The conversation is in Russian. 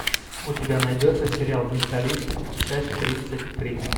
у тебя найдется сериал менталист часть тридцать три